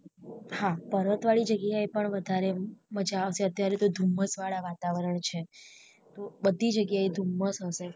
હા પર્વત વાળી જગ્યા એ પણ વધારે મજા આવશે અત્યારે તો ધુમ્મસ વાળા વાતાવરણ છે બધી જગ્યા એ ધુમ્મસ હશે